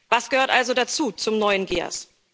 Was gehört also dazu zum neuen GEAS?